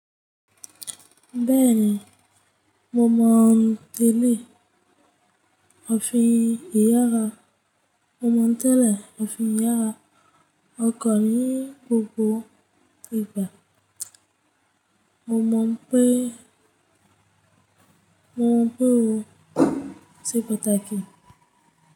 Bẹ́ẹ̀ni, mo mọ̀ tẹ́lẹ̀ òfin ìyàrá. Mo mọ̀ tẹ́lẹ̀ òfin ìyàrá. O kọ̀ ní gbogbo ìgbà. Mo mọ̀ pé, mo mọ̀ pé o ti pàtàkì.